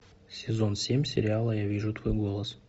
сезон семь сериала я вижу твой голос